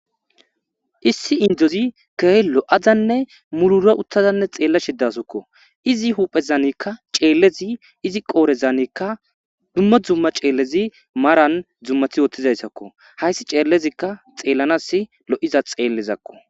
issi indozi gehe lo7azanne mulura uttazanne xeella shidasokko izi huphezanikka ceellezi izi qoorezanikka dumma dzumma ceellezi maran dzummathi woththizayssakko hayssi ceellezikka xeellanas lo7iza xeellezakko